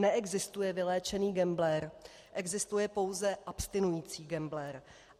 Neexistuje vyléčený gambler, existuje pouze abstinující gambler.